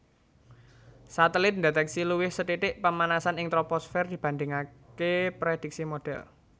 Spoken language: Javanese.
Satelit ndetèksi luwih sethithik pamanasan ing troposfer dibandhingaké predhiksi modhèl